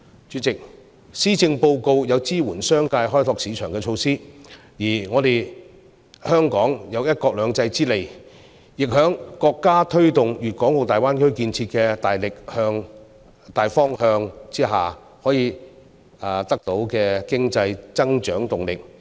主席，施政報告有支援商界開拓市場的措施，而香港有"一國兩制"之利，在國家推動粵港澳大灣區建設的大方向之下，可以得到經濟增長動力。